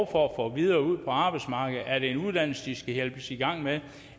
for at komme videre ud på arbejdsmarkedet er det en uddannelse de skal hjælpes i gang med